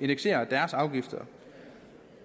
indekserer deres afgifter